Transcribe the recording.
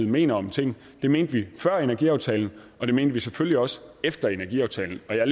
mener om ting det mente vi før energiaftalen og det mente vi selvfølgelig også efter energiaftalen jeg